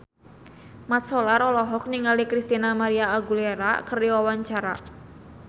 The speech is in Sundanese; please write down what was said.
Mat Solar olohok ningali Christina María Aguilera keur diwawancara